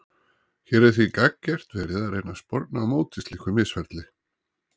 Hér er því gagngert verið að reyna að sporna á móti slíku misferli.